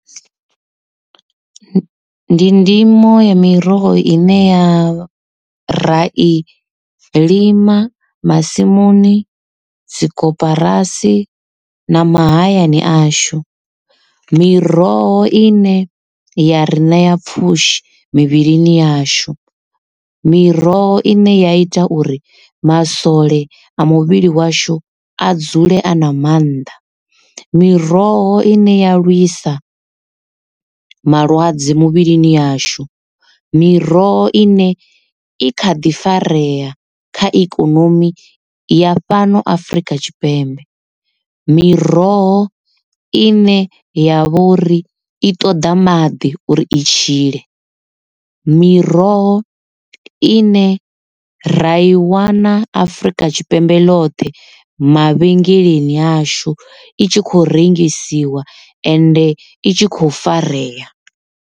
Ndi ndimo ya miroho i ne ya ra i lima masimuni dzi koporasi na mahayani ashu. Miroho ine ya ri ṋea pfhushi mivhilini yashu. Miroho ine ya ita uri masole a muvhili washu a dzule a na mannḓa. Miroho ine ya lwisa malwadze muvhilini yashu. Miroho i ne i kha ḓi farea kha ikonomi ya fhano afrika tshipembe. Miroho ine ya vhori i ṱoḓa maḓi uri i tshile. Miroho ine ra i wana afrika tshipembe lothe mavhengeleni ashu i tshi kho rengisiwa ende i tshi kho farea.